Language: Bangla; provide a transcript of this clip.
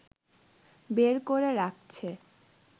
বের করে রাখছে